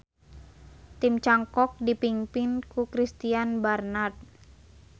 Tim cangkok dipingpin ku Christiaan Barnard.